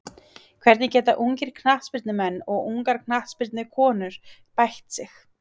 Hvernig geta ungir knattspyrnumenn og ungar knattspyrnukonur bætt sig?